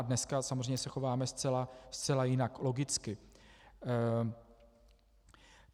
A dneska samozřejmě se chováme zcela jinak, logicky.